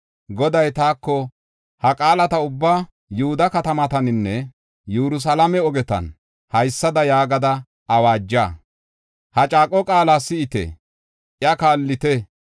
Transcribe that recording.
Goday taako, “Ha qaalata ubbaa Yihuda katamataninne Yerusalaame ogetan haysada yaagada awaaja: ‘Ha caaqo qaala si7ite; iya kaallite.